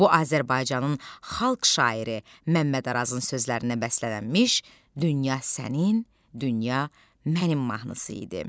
Bu Azərbaycanın Xalq şairi Məmməd Arazın sözlərinə bəslənmiş dünya sənin, dünya mənim mahnısı idi.